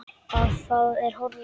Að það er horfið!